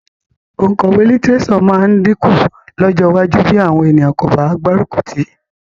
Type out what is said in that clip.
Òǹkọ̀wé lítíréṣọ̀ máa dínkù lọ́jọ́ iwájú bí àwọn ènìyàn kò bá gbárùkù tì í